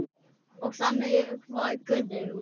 Og þannig var Guðrún.